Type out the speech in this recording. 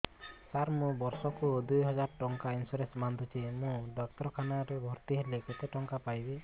ସାର ମୁ ବର୍ଷ କୁ ଦୁଇ ହଜାର ଟଙ୍କା ଇନ୍ସୁରେନ୍ସ ବାନ୍ଧୁଛି ମୁ ଡାକ୍ତରଖାନା ରେ ଭର୍ତ୍ତିହେଲେ କେତେଟଙ୍କା ପାଇବି